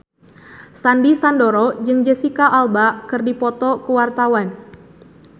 Sandy Sandoro jeung Jesicca Alba keur dipoto ku wartawan